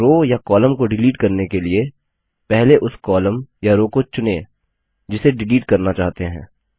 एक रो या कॉलम को डिलीट करने के लिए पहले उस कॉलम या रो को चुनें जिसे डिलीट करना चाहते हैं